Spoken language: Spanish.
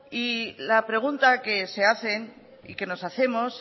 y la pregunta que se hacen y que nos hacemos